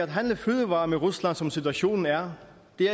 handle fødevarer med rusland som situationen er